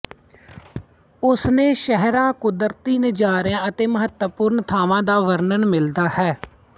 ਉਸਨੇ ਸ਼ਹਿਰਾਂ ਕੁਦਰਤੀ ਨਜ਼ਾਰਿਆਂ ਅਤੇ ਮਹੱਤਵਪੂਰਨ ਥਾਵਾਂ ਦਾ ਵਰਣਨ ਮਿਲਦਾ ਹੈ